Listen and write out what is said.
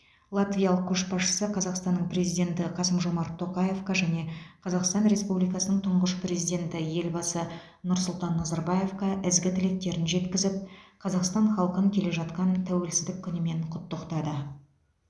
латвиялық көшбасшысы қазақстанның президенті қасым жомарт тоқаевқа және қазақстан республикасының тұңғыш президенті елбасы нұрсұлтан назарбаевқа ізгі тілектерін жеткізіп қазақстан халқын келе жатқан тәуелсіздік күнімен құттықтады